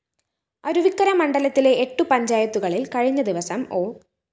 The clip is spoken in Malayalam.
അരുവിക്കര മണ്ഡലത്തിലെ എട്ട് പഞ്ചായത്തുകളില്‍ കഴിഞ്ഞദിവസം ഒ